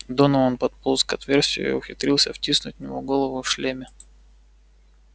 донован подполз к отверстию и ухитрился втиснуть в него голову в шлеме